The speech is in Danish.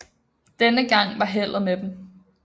Denne gang var heldet med dem